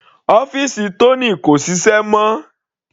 Ọ́fìsì Tony kò ṣiṣẹ́ mọ́.